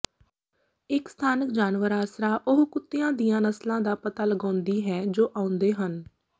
ਇੱਕ ਸਥਾਨਕ ਜਾਨਵਰ ਆਸਰਾ ਉਹ ਕੁੱਤਿਆਂ ਦੀਆਂ ਨਸਲਾਂ ਦਾ ਪਤਾ ਲਗਾਉਂਦੀ ਹੈ ਜੋ ਆਉਂਦੇ ਹਨ